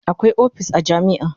Akwai opis a jami'a